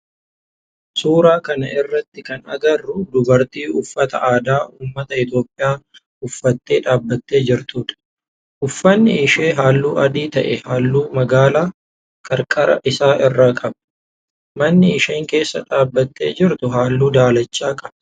Suuraa kana irratti kan agarru dubartii uffata aadaa ummata Itiyoophiyaa uffattee dhaabbattee jirtudha. Ufanni ishee halluu adii ta'ee halluu magaala qarqara isaa irraa qaba. Manni isheen keessa dhaabbattee jirtu halluu daalacha qaba.